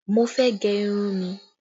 Mo fẹ́ gẹ irun mi